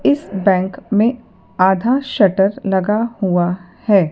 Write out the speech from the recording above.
इस बैंक में आधा शटर लगा हुआ है।